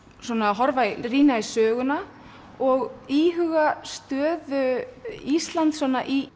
rýna í söguna og íhuga stöðu Íslands í